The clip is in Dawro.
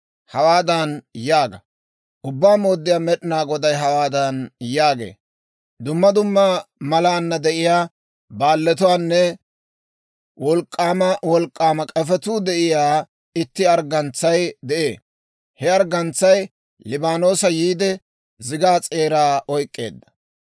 Hawaadan yaaga; ‹Ubbaa Mooddiyaa Med'inaa Goday hawaadan yaagee; «Duma duma malaana de'iyaa baalletuunne wolk'k'aama wolk'k'aama k'efetuu de'iyaa itti arggantsay de'ee. He arggantsay Liibaanoosa yiide zigaa s'eeraa oyk'k'eedda.